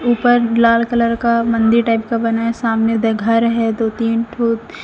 ऊपर लाल कलर का मंदिर टाइप का बनाएं सामने दे घर है दो तीन ठो--